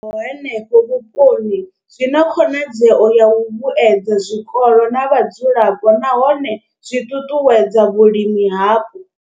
I bveledzwaho henefho vhuponi zwi na khonadzeo ya u vhuedza zwikolo na vhadzulapo nahone zwi ṱuṱuwedza vhulimi hapo.